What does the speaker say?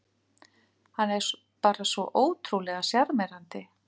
Hann er bara svo ótrúlega sjarmerandi